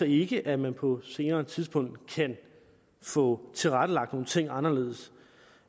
ikke at man på et senere tidspunkt kan få tilrettelagt nogle ting anderledes